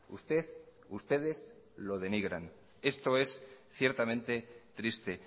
usted ustedes lo denigran esto es ciertamente triste